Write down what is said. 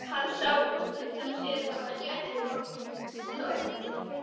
Hann sá útundan sér hvar Gerður kom stormandi.